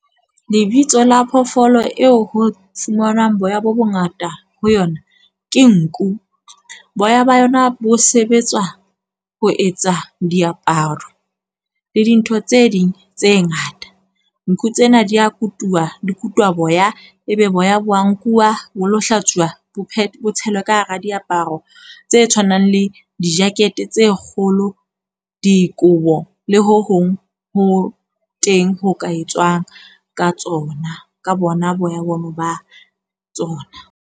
Lebitso la phoofolo eo ho fumanwang boya bo bongata ho yona ke nku. Boya ba yona bo sebetswa ho etsa diaparo le dintho tse ding tse ngata. Nku tsena di a kutuwa dikutwa boya, ebe boya bo a nkuwa bo lo hlatsuwa. Bophelo bo tshelwa ka hara diaparo tse tshwanang le di-jacket tse kgolo, dikobo le ho hong ho teng ho ka etswang ka tsona ka bona boya bona ba tsona.